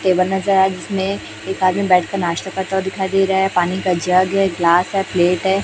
Table नजर आया जिसमें एक आदमी बैठकर नाश्ता दिखाई दे रहा है पानी का जग है ग्लास है प्लेट है।